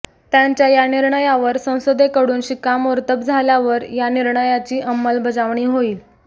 त्यांच्या या निर्णयावर संसदेकडून शिक्कामोर्तब झाल्यावर या निर्णयाची अंमलबजावणी होईल